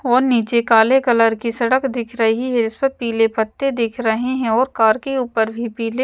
और नीचे काले कलर की सड़क दिख रही है इस पर पीले पत्ते दिख रहे हैं और कार के ऊपर भी पीले--